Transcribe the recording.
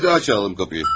Bir daha çalaq qapıyı.